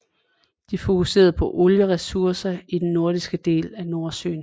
De fokuserer på olie ressourcer i den norske del af Nordsøen